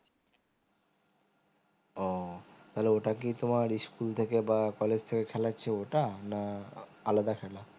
ও তাহলে ওটা কি তোমার school থেকে বা college থেকে খেলাচ্ছে ওটা না আলাদা খেলা